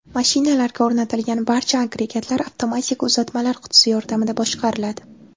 Mashinalarga o‘rnatilgan barcha agregatlar avtomatik uzatmalar qutisi yordamida boshqariladi.